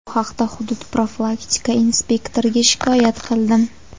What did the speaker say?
Bu haqda hudud profilaktika inspektoriga shikoyat qildim.